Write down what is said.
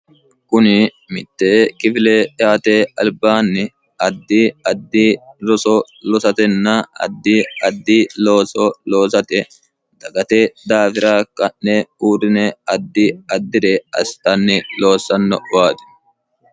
kuni mitte kifile yaate albaanni addi addi roso loosatenna addi addi looso loosate dagate daafira ka'ne uurrine addi addire asitanni loossanno faati